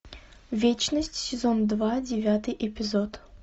вечность сезон два девятый эпизод